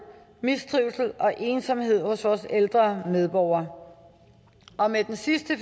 mistrivsel og ensomhed hos vores ældre medborgere og med den seneste